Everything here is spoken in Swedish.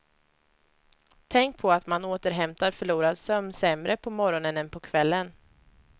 Tänk på att man återhämtar förlorad sömn sämre på morgonen än på kvällen.